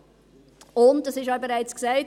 Es wurde auch schon gesagt: